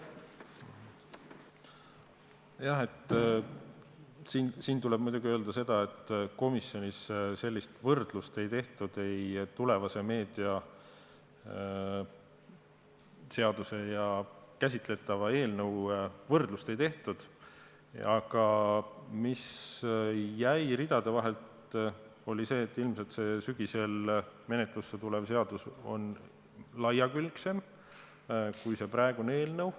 Jah, siin tuleb muidugi öelda seda, et komisjonis sellist tulevase meediateenuste seaduse ja käsitletava eelnõu võrdlust ei tehtud, aga ridade vahelt selgus, et ilmselt see sügisel menetlusse tulev seadus on mitmekülgsem kui praegune eelnõu.